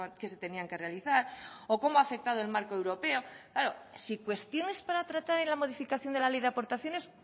que se tenían que realizar o cómo ha afectado el marco europeo claro si cuestiones para tratar en la modificación de la ley de aportaciones